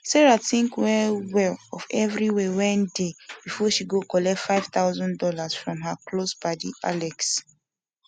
sarah tink well well of everi way wen de before she go collect 5000 dollas from her close padi alex